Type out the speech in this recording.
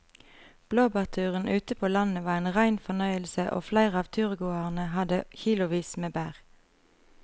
Blåbærturen ute på landet var en rein fornøyelse og flere av turgåerene hadde kilosvis med bær.